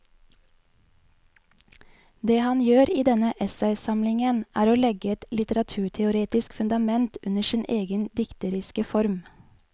Det han gjør i denne essaysamlingen er å legge et litteraturteoretisk fundament under sin egen dikteriske form.